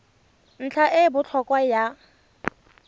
ntlha e e botlhokwa ya